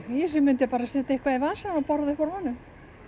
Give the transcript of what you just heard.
ég myndi bara setja eitthvað í vasann og borða upp úr honum